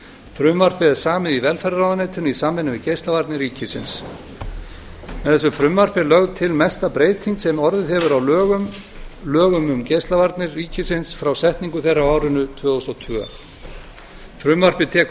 frumvarpið er samið í velferðarráðuneytinu í samvinnu við geislavarnir ríkisins með þessu frumvarpi er lögð til mesta breyting sem orðið hefur á lögum um geislavarnir ríkisins frá setningu þeirra á árinu tvö þúsund og tvö frumvarpi á tekur